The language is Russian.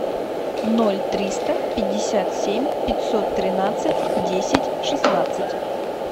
ноль триста пятьдесят семь пятьсот тринадцать десять шестнадцать